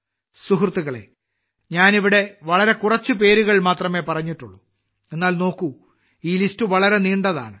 സുഹൃത്തുക്കളേ ഞാൻ ഇവിടെ വളരെ കുറച്ച് പേരുകൾ മാത്രമേ പറഞ്ഞിട്ടുള്ളൂ എന്നാൽ നോക്കൂ ഈ ലിസ്റ്റ് വളരെ നീണ്ടതാണ്